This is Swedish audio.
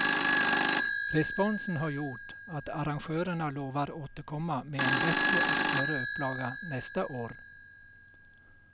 Responsen har gjort att arrangörerna lovar återkomma med en bättre och större upplaga nästa år.